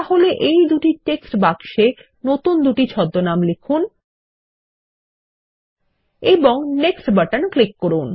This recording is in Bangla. তাহলে এই দুই টেক্সট বাক্সে নতুন দুটি ছদ্মনাম লিখুন এবং নেক্সট বাটন ক্লিক করুন